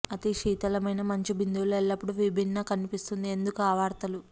అతి శీతలమైన మంచు బిందువులు ఎల్లప్పుడూ విభిన్న కనిపిస్తుంది ఎందుకు ఆ వార్తలు